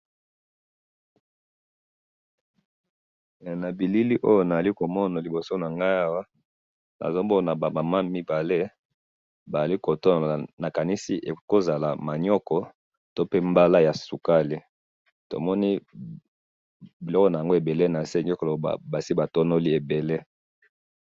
Na bilili oyo nazali komona liboso na ngai awa, ezali ba Mama mibale bazali ko sala, ekoki kozala manioko, o mbala ya sukali ezali ebele na mabele.